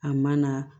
A ma na